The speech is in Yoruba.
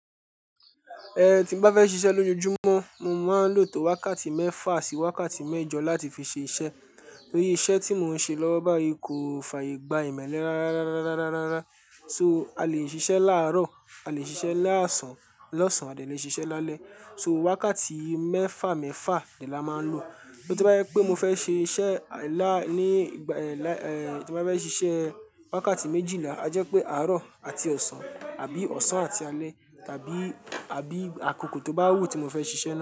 Ẹ̀ tí n bá fẹ́ ṣíṣe lójojúmọ́, mo máa ń lò tó wákàtí mẹ́fà sí wákàtí mẹ́jọ láti fi ṣe iṣẹ́. Nítorí iṣẹ́ tí mo ń ṣe lówó báyìí kò fàyè gba ìmẹ́lẹ́ rárá rárá rárá So a lè ṣiṣẹ́ láàárọ̀, a lè ṣiṣẹ́ lásán, lọ́sàn àti a lè ṣiṣẹ́ lálẹ́. So wákàtí mẹ́fà mẹ́fà dẹ ni a máa ń lò. So to bá jẹ́ pé mo fẹ́ ṣe iṣẹ́ lá-- ní ìgbà ẹ́-- tí mo bá fẹ́ ṣiṣẹ́ wákàtí méjìlá, a jẹ́ pé àárọ̀ àti ọ̀sán àbí ọ̀sán àti alẹ́ tàbí, àbí àkókò tó bá wù tí mo fẹ́ ṣiṣẹ́ náà.